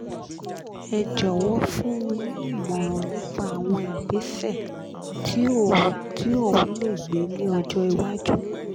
Ẹ jọ̀wọ́ fun ni ìmọ̀ràn nipa igbese ti o ti ohun le gbe ni ọ̀jọ̀ ìwájú